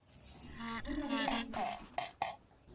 ho na le ba binang